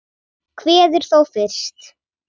Kveður þó fyrst.